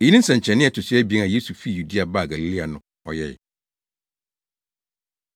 Eyi ne nsɛnkyerɛnne a ɛto so abien a Yesu fii Yudea baa Galilea no ɔyɛe.